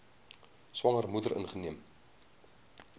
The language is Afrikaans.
swanger moeder ingeneem